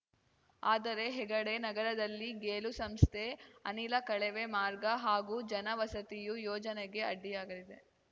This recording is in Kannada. ಆದರೆ ಹೆಗಡೆ ನಗರದಲ್ಲಿ ಗೇಲು ಸಂಸ್ಥೆಯ ಅನಿಲ ಕಳವೆ ಮಾರ್ಗ ಹಾಗೂ ಜನ ವಸತಿಯು ಯೋಜನೆಗೆ ಅಡ್ಡಿಯಾಗಲಿದೆ